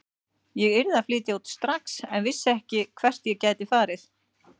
Ég yrði að flytja út strax en vissi ekki hvert ég gæti farið.